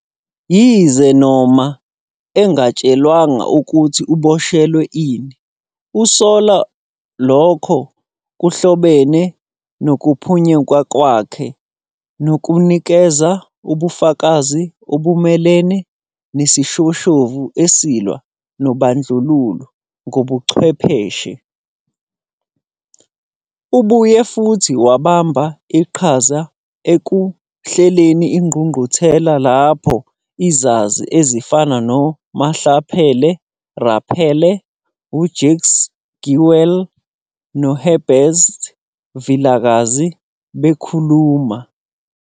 Yize noma engatshelwanga ukuthi uboshelwe ini, usola ukuthi lokho kuhlobene nokuphunyuka kwakhe nokunikeza ubufakazi obumelene nesishoshovu esilwa nobandlululo ngobuchwepheshe. Ubuye futhi wabamba iqhaza ekuhleleni ingqungquthela lapho izazi ezifana noMamphele Ramphele, uJakes Gerwel noHerbert Vilakazi bekhuluma.